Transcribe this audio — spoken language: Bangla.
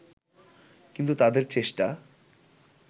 কিন্তু তাদের চেষ্টা